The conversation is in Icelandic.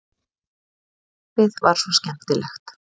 Lífið var svo skemmtilegt.